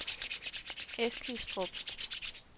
Eskilstrup